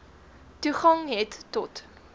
toegang het tot